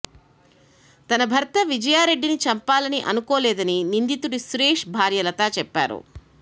తన భర్త విజయారెడ్డిని చంపాలని అనుకోలేదని నిందితుడు సురేష్ భార్య లత చెప్పారు